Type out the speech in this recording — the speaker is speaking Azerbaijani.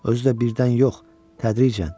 Özdə birdən yox, tədricən.